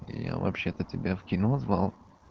я вообще-то тебя в кино звал